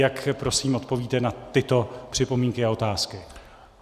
Jak prosím odpovíte na tyto připomínky a otázky?